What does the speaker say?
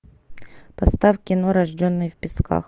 поставь кино рожденный в песках